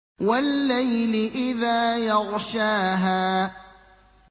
وَاللَّيْلِ إِذَا يَغْشَاهَا